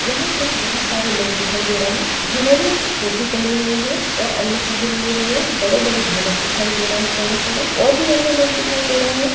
यहाँ कुछ बहुत सारे लोग दिखाई दे रहे हैं जिन्होंने टोपी पहनी हुई है और अन्य चीजे लिए हुए बड़े-बड़े ढोलक दिखाई दे रहे हैं चौड़े-चौड़े और भी अन्य लोग दिखाई दे रहे हैं।